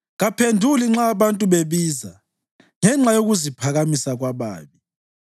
Kaphenduli nxa abantu bebiza ngenxa yokuziphakamisa kwababi.